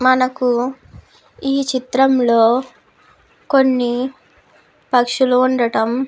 మనకు ఈ చిత్రంలో కొన్ని పక్షులు ఉండటం --